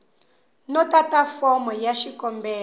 no tata fomo ya xikombelo